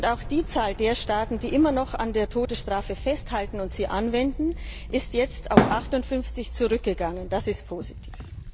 Auch die Zahl der Staaten, die noch immer an der Todesstrafe festhalten und sie anwenden, ist jetzt auf 58 zurückgegangen. Das ist positiv.